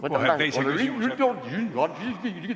Võtame teise küsimuse.